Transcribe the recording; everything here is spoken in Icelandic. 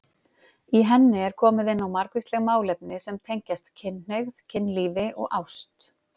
Í henni er komið inn á margvísleg málefni sem tengjast kynhneigð, kynlífi og ást.